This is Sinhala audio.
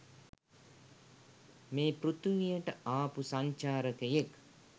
මේ පෘතුවියට ආපු සංචාරකයෙක්.